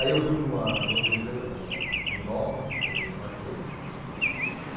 Aí eu fui para uma em outra empresa, que era a Quiminova, empresa dinamarquesa.